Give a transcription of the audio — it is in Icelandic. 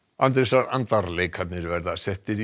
Andrésar andar leikarnir verða settir í